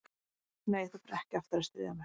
Nei, þú ferð ekki aftur að stríða mér.